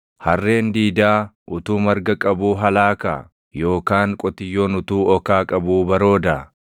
Harreen diidaa utuu marga qabuu halaakaa? Yookaan qotiyyoon utuu okaa qabuu baroodaa?